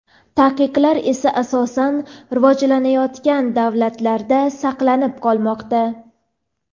Taqiqlar esa asosan rivojlanayotgan davlatlarda saqlanib qolmoqda.